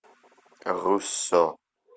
руссо